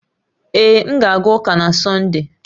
Ee, m ga-aga ụka na Sọnde